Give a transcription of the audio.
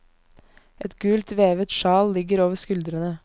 Et gult, vevet sjal ligger over skuldrene.